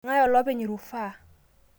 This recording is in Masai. Eng'ae olopeny rufaa?